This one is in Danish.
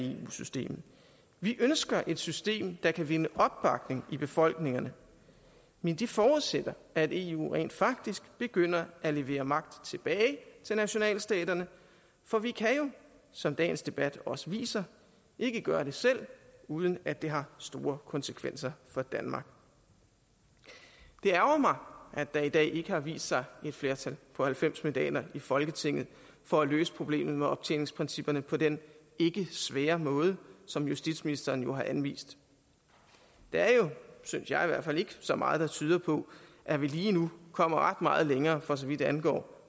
eu systemet vi ønsker et system der kan vinde opbakning i befolkningerne men det forudsætter at eu rent faktisk begynder at levere magt tilbage til nationalstaterne for vi kan jo som dagens debat også viser ikke gøre det selv uden at det har store konsekvenser for danmark det ærgrer mig at der i dag ikke har vist sig et flertal på halvfems mandater i folketinget for at løse problemet med optjeningsprincipperne på den ikke svære måde som justitsministeren jo har anvist der er jo synes jeg i hvert fald ikke så meget der tyder på at vi lige nu kommer ret meget længere for så vidt angår